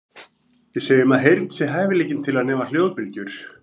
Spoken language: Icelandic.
Við segjum að heyrn sé hæfileikinn til að nema hljóðbylgjur.